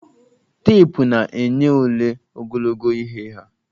Teepụ na-enye ole ogologo ihe ha.